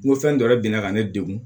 N ko fɛn dɔ de bina ne degun